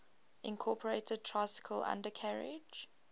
incorporated tricycle undercarriage